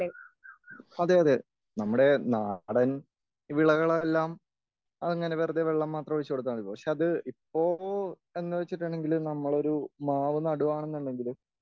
അതെ അതെ നമ്മുടെ നാടൻ വിളകളെല്ലാം അങ്ങനെ വെറുതെ വെള്ളം മാത്രം ഒഴിച്ച് കൊടുത്താൽ മതി.പക്ഷെ ഇപ്പൊ എന്ന് വെച്ചിട്ടുണ്ടെങ്കിൽ നമ്മളൊരു മാവ് നാടുവാന്നുണ്ടെങ്കിൽ